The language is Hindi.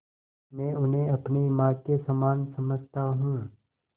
मैं उन्हें अपनी माँ के समान समझता हूँ